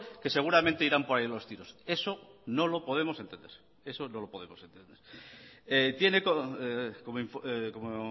que seguramente irán por ahí los tiros eso no lo podemos entender tiene como